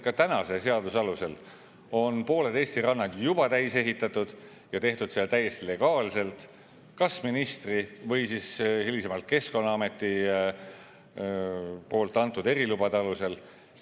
Ka tänase seaduse alusel on pooled Eesti rannad juba täis ehitatud ja tehtud seda täiesti legaalselt kas ministri või hiljem Keskkonnaameti antud erilubade alusel.